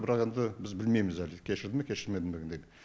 бірақ енді біз білмейміз әлі кешірді ме кешірмеді ме дегенді